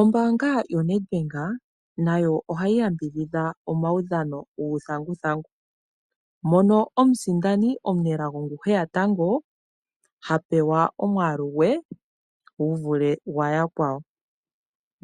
Ombaanga yoNedBank nayo ohayi yambidhidha omaudhano guuthanguthangu, mono omusindani omunelago ngu heya tango ha pewa omwaalu gwe guvule gwayakwawo